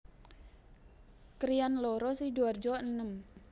Krian loro Sidoarjo enem